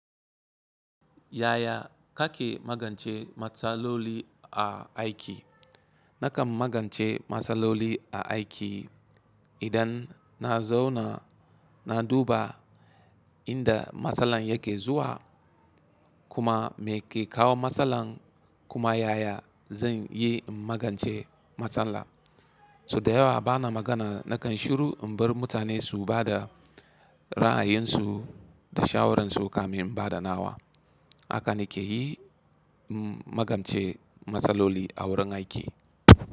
Yaya kake magance matsaloli a aiki? Nakan magance matsaloli a aiki idan na zauna na duba inda matsalar yake zuwa kuma me ke kawo matsalar kuma yaya zan yi in magance matsalar. So da yawa bana magana nakan shiru in bar mutane su ba da ra'ayinsu da shawararsu kamin in ba da nawa. Haka nike yi in magance matsaloli a wurin aiki.